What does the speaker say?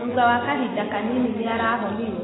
Thutha wa kahinda kanini nĩ arahonire.